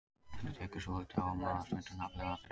Þetta tekur svolítið á og maður er stundum andlega þreyttur.